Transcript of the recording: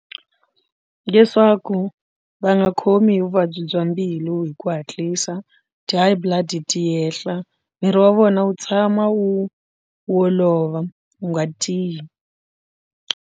Leswaku va nga khomi hi vuvabyi bya mbilu hi ku hatlisa ti-high blood ti yehla miri wa vona wu tshama wu wu olova wu nga tiyi.